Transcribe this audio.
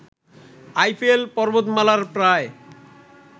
Eiffel পর্বতমালার প্রায়